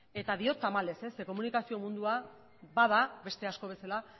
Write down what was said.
eta diot tamalez zeren komunikazio mundua bada beste asko bezala